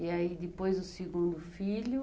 E aí depois o segundo filho?